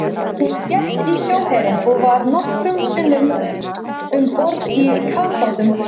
Hún gekk í sjóherinn og var nokkrum sinnum um borð í kafbátum.